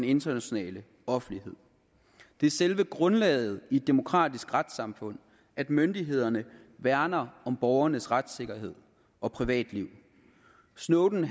internationale offentlighed det er selve grundlaget i et demokratisk retssamfund at myndighederne værner om borgernes retssikkerhed og privatliv snowden